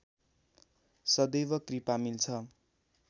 सदैव कृपा मिल्छ